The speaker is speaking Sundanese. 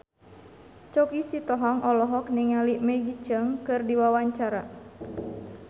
Choky Sitohang olohok ningali Maggie Cheung keur diwawancara